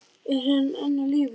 Er hann enn á lífi?